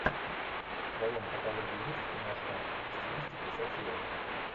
в твоем каталоге есть киношка в стилистике сатира